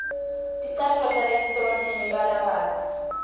ticatfulo talesitolo tinemibalabala